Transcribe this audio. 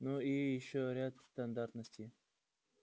ну и ещё ряд стандартностей